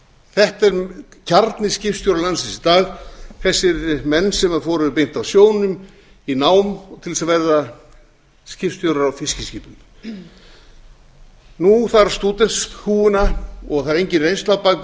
þetta er kjarni skipstjóra landsins í dag þessir menn sem fóru beint af sjónum í nám til að verða skipstjórar á fiskiskipum nú þarf stúdentshúfuna og það er engin reynsla á bak